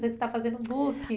Você está fazendo book.